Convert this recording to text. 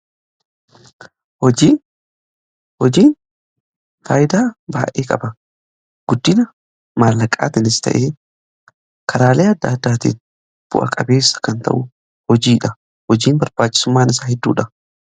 Hojiin faayidaa baayyee qaba. Karaa maallaqaatiinis ta'e karaalee adda addaatiin bu'aa-qabeessa nu taasisa.